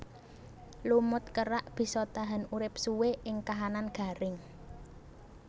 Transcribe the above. Lumut kerak bisa tahan urip suwé ing kahanan garing